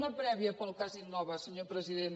una prèvia pel cas innova senyor president